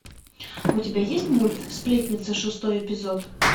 у тебя есть мульт сплетница шестой эпизод